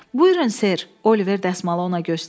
Buyurun, Ser, Oliver dəsmalı ona göstərdi.